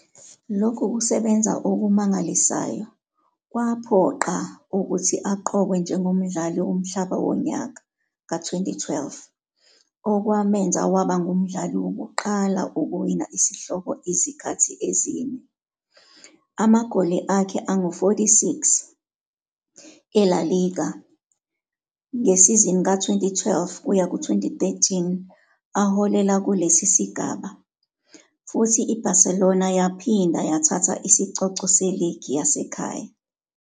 Lokhu kusebenza okumangalisayo kwamphoqa ukuthi aqokwe njengomdlali womhlaba wonyaka ka-2012, okumenza waba ngumdlali wokuqala ukuwina isihloko izikhathi ezine. Amagoli akhe angu-46 eLa Liga ngesizini ka-2012-13 aholela kulesi sigaba, futhi iBarcelona yaphinda yathatha isicoco seligi yasekhaya.